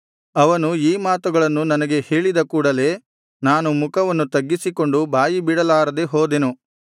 ಅವನು ಈ ಮಾತುಗಳನ್ನು ನನಗೆ ಹೇಳಿದ ಕೂಡಲೆ ನಾನು ಮುಖವನ್ನು ತಗ್ಗಿಸಿಕೊಂಡು ಬಾಯಿಬಿಡಲಾರದೆ ಹೋದೆನು